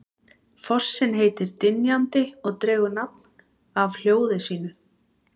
Fossinn heitir Dynjandi og dregur nafn af hljóði sínu.